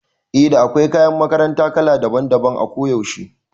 Eh da akwai kayan makaranta kala daban daban a kuyaushe